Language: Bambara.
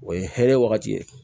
O ye hɛrɛ wagati ye